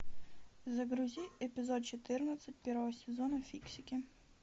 загрузи эпизод четырнадцать первого сезона фиксики